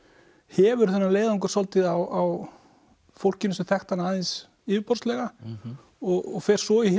hefur þennan leiðangur svolítið á fólkinu sem þekkti hana aðeins yfirborðslega og fer svo í